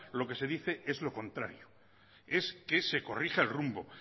lo que se dice es lo contrario es que se corrija el rumbo